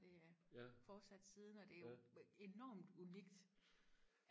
det ja fortsat siden og det er jo enormt unikt